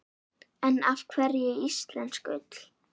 En af hverju íslensk ull?